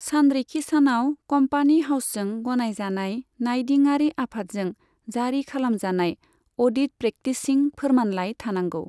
सानरिखिसानाव company हाउसजों गनायजानाय नायदिंआरि आफादजों जारि खालामजानाय अडिट प्रेक्टिसिं फोरमानलाइ थानांगौ।